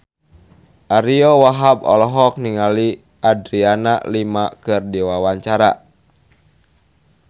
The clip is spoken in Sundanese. Ariyo Wahab olohok ningali Adriana Lima keur diwawancara